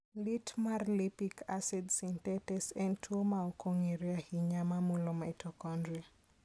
Lit mar lipic acid synthetase en tuwo ma ok ong'ere ahinya ma mulo mitochondria.